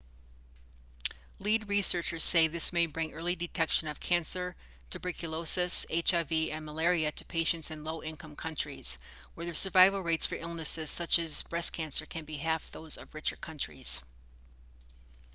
lead researchers say this may bring early detection of cancer tuberculosis hiv and malaria to patients in low-income countries where the survival rates for illnesses such as breast cancer can be half those of richer countries